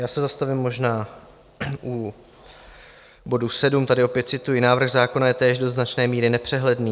Já se zastavím možná u bodu sedm, tady opět cituji: "Návrh zákona je též do značné míry nepřehledný.